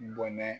Bɔnɛ